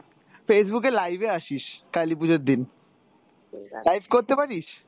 Facebook এ live এ আসিস কালি পুজোর দিন, live করতে পারিস?